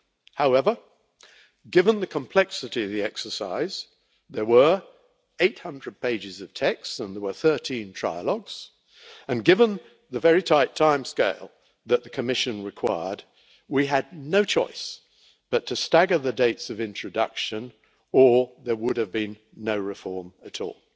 However, given the complexity of the exercise there were 800 pages of text and 13 trilogues and given the very tight timescale that the Commission required, we had no choice but to stagger the dates of introduction or there would have been no reform at all.